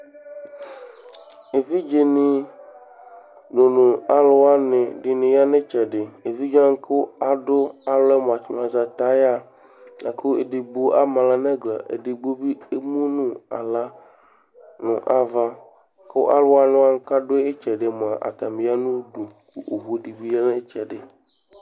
Evidze ni ɖʊnu alʋwani ɖɩnɩ ya nu itsɛdi Evidzewanɩ kʊ alɔ mʊa ayaɣa Akʊ ɛdigbo ama aɣla nʊ ɛgla Ɛdigbo bi emʊnu aɣla nava kʊ alʊwani kaɖu itsɛɖi atani ya nu ʊdu ku owʊ dɩbi ya nʊ itsɛdi